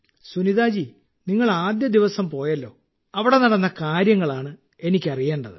സുനിതാ ജീ നിങ്ങൾ ആദ്യദിവസം പോയല്ലോ അവിടെ നടന്ന കാര്യങ്ങളാണ് എനിക്ക് അറിയേണ്ടത്